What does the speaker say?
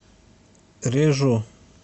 режу